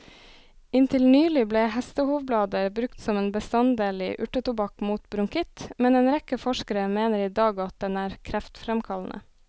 Inntil nylig ble hestehovblader brukt som en bestanddel i urtetobakk mot bronkitt, men en rekke forskere mener i dag at den er kreftfremkallende.